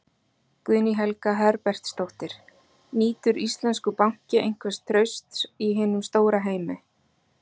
Guðný Helga Herbertsdóttir: Nýtur íslenskur banki einhvers trausts í hinum stóra heimi?